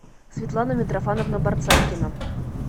светлана митрофановна борцайкина